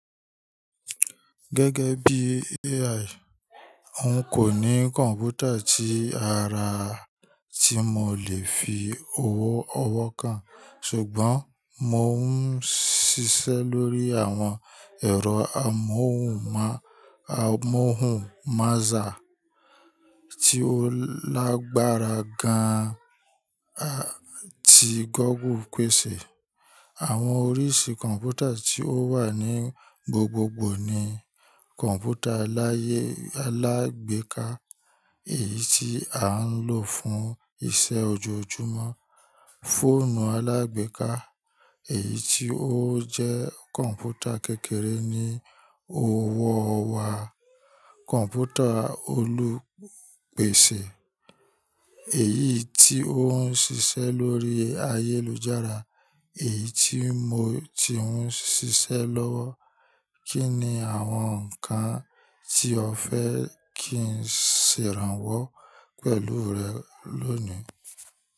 Gẹ́gẹ́ bí AI, oun kò ní kọ̀ǹpútà tí ara tí mo lè fi ọwọ́ ọwọ́ kán, ṣùgbọ́n mo ń ṣiṣẹ́ lórí àwọn ẹ̀rọ amóhùnmáàsá tí ó lágbára gan-an tí Google pèsè. Àwọn oríṣi kọ̀ǹpútà tí ó wà ní gbogbogbò ni kọ̀ǹpútà alágbèéká, èyí tí a ń lò fún iṣẹ́ ojoojúmọ́, fóònù alágbèéká, èyí tí ó jẹ́ kọ̀ǹpútà kékeré ní ọwọ́ wa, kọ̀ǹpútà olùpèsè, èyí tí ó ń ṣiṣẹ́ lórí ayélujára, èyí tí mo ti ń ṣiṣẹ́ lọ́wọ́. Kí ni àwọn nǹkan tí o fẹ́ kí n ṣe ìrànwọ́ pẹ̀lú rẹ lónìí?